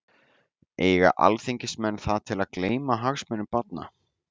Eiga alþingismenn það til að gleyma hagsmunum barna?